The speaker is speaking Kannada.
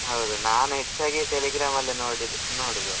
ಹೌದು. ನಾನು ಹೆಚ್ಚಾಗಿ Telegram ಅಲ್ಲೆ ನೋಡಿದ್ದು ನೋಡುದು.